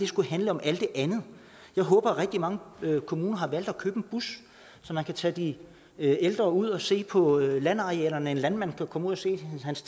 skulle handle om alt det andet jeg håber at rigtig mange kommuner har valgt at købe en bus så man kan tage de ældre ud og se på landarealerne en landmand kan komme ud og se